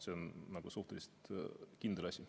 See on suhteliselt kindel asi.